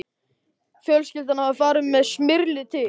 Fjölskyldan hafði farið með Smyrli til